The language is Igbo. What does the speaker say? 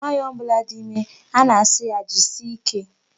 Nwaanyị ọbụla dị ime, a na-asị ya jisie ike.